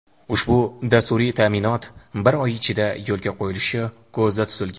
ushbu dasturiy ta’minot bir oy ichida yo‘lga qo‘yilishi ko‘zda tutilgan.